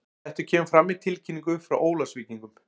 Þetta kemur fram í tilkynningu frá Ólafsvíkingum.